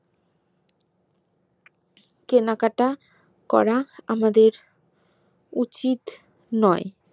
কেনাকাটা করা আমাদের উচিত নোই